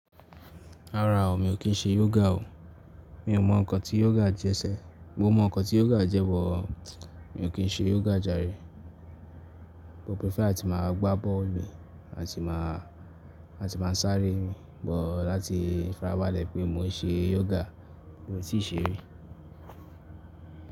Rárá o, mi ò kí ń ṣe yoga o. Mi ò mọ ǹkọ̀ tí yoga jẹ́ sẹ. Mo mọ ǹkọ̀ tí yoga jẹ́ bọ, mi ò kí ń ṣe yoga jàre. Mo prefer láti máa gbá bọ́ọ̀lù, àti máa sáré, but láti fara bálẹ̀ pé mò ń ṣe yoga, mi ò tíì ṣe rí.